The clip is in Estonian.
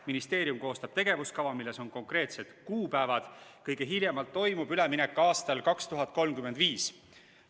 Ministeerium koostab tegevuskava, milles on konkreetsed kuupäevad, ja kõige hiljem toimub üleminek aastal 2035.